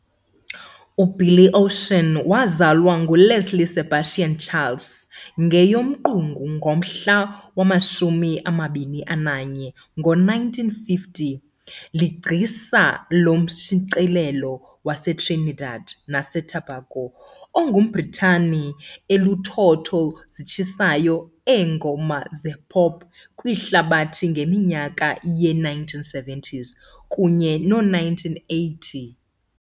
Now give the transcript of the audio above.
UBilly Ocean, wazalwa enguLeslie Sebastian Charles, ngeyoMqungu ngomhla wama-21, ngo1950, ligcisa lomshicileli waseTrinidad naseTobago ongumBritane elinothotho zitshisayo eengoma zepop ye] kwihlabathi ngeminyaka yee1970 kunye noo1980.